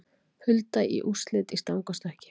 Hulda í úrslit í stangarstökki